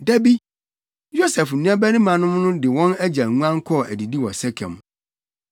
Da bi, Yosef nuabarimanom no de wɔn agya nguan kɔɔ adidi wɔ Sekem.